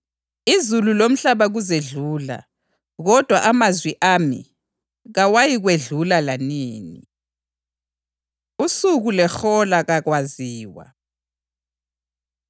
Izulu lomhlaba kuzedlula, kodwa amazwi ami kawayikwedlula lanini.” Usuku Lehola Kakwaziwa